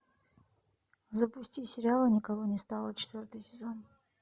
запусти сериал и никого не стало четвертый сезон